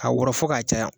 Ka wɔrɔn fo k'a caya